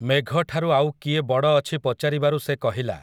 ମେଘଠାରୁ ଆଉ କିଏ ବଡ଼ ଅଛି ପଚାରିବାରୁ ସେ କହିଲା,